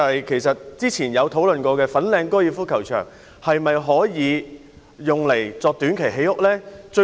其實過去曾討論的粉嶺高爾夫球場可否用作短期興建房屋呢？